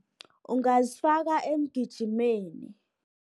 Ungazifaka emgijimeni